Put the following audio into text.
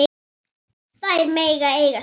Þær mega eiga sig.